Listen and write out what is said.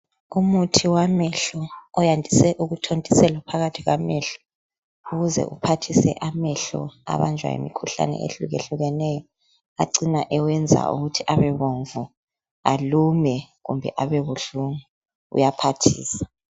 Umuthi wamehlo oyandise ukuthontiselwa phakathi kwamehlo ukuze uphathise amehlo abanjwa yimikhuhlane ehlukehlukeneyo acina ewenza ukuthi abebomvu, alume kumbe abebuhlungu uyaphathisa.